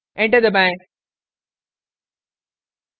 enter दबाएं